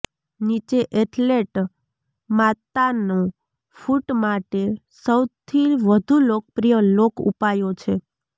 નીચે એથલેટ માતાનો ફુટ માટે સૌથી વધુ લોકપ્રિય લોક ઉપાયો છે